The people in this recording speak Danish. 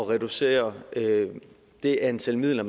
reducere det antal midler